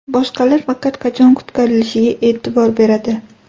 Boshqalar faqat qachon qutqarilishiga e’tibor beradi.